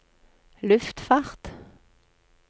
luftfart